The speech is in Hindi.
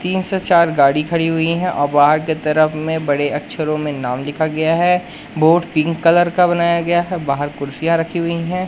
तीन से चार गाड़ी खड़ी हुई हैं और बाहर की तरफ में बड़े अक्षरों में नाम लिखा गया है बोर्ड पिंक कलर का बनाया गया है बाहर कुर्सियाँ रखी हुई हैं।